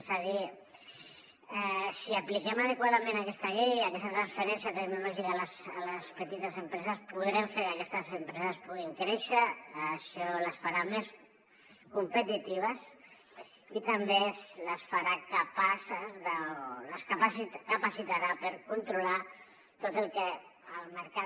és a dir si apliquem adequadament aquesta llei i aquesta transferència tecnològica a les petites empreses podrem fer que aquestes empreses puguin créixer això les farà més competitives i també les farà capaces o les capacitarà per controlar tot el que el mercat